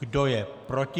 Kdo je proti?